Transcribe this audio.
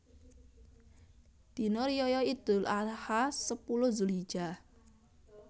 Dina Riyaya Idul Adha sepuluh Zulhijjah